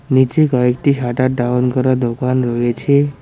নিচে কয়েকটি shutter down করা দোকান রয়েছে।